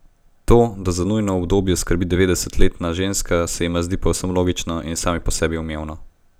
To, da za njuno udobje skrbi devetdesetletna ženska, se jima zdi povsem logično in samo po sebi umevno.